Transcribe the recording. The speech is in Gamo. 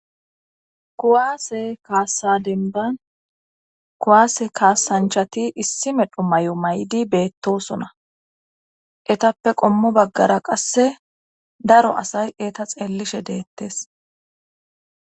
kuwaase kaassa denban kuwaase kaassanchati issi medho may7o may7di beettosona etappe qommo baggara qasse daro asay eta xeellishe deettes